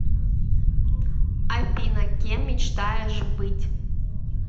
афина кем мечтаешь быть